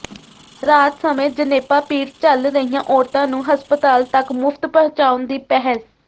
ਰਾਤ ਸਮੇਂ ਜਣੇਪਾ ਪੀੜ ਝੱਲ ਰਹੀਆਂ ਔਰਤਾਂ ਨੂੰ ਹਸਪਤਾਲ ਤੱਕ ਮੁਫ਼ਤ ਪਹੁੰਚਾਉਣ ਦੀ ਪਹਿਲ